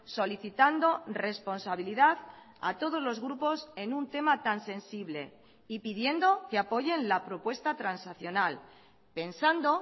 solicitando responsabilidad a todos los grupos en un tema tan sensible y pidiendo que apoyen la propuesta transaccional pensando